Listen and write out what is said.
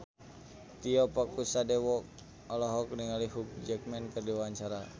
Tio Pakusadewo olohok ningali Hugh Jackman keur diwawancara